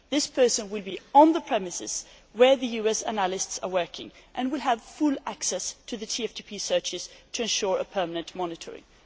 This person will be on the premises where the US analysts are working and will have full access to the TFTP searches to ensure permanent monitoring.